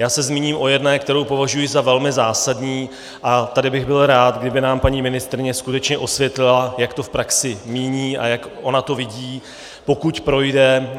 Já se zmíním o jedné, kterou považuji za velmi zásadní, a tady bych byl rád, kdyby nám paní ministryně skutečně osvětlila, jak to v praxi míní a jak ona to vidí, pokud projde